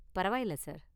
பரவாயில்ல சார்.